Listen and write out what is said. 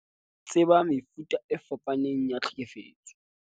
Tseba mefuta e fapaneng ya tlhekefetso